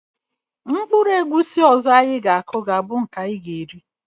Mkpụrụ egwusi ọzọ anyị ga-aku ,ga - abụ nke anyị ga-eri